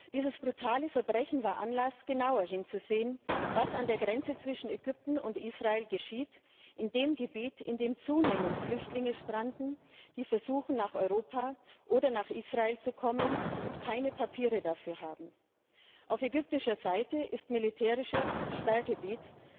Dieses brutale Verbrechen war Anlass, genauer hinzusehen, was an der Grenze zwischen Ägypten und Israel geschieht, in dem Gebiet, in dem zunehmend Flüchtlinge stranden, die versuchen, nach Europa oder nach Israel zu kommen und keine Papiere dafür haben. Auf ägyptischer Seite ist militärisches Sperrgebiet.